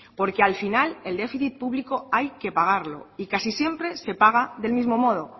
porque al final el déficit público hay que pagarlo y casi siempre se paga del mismo modo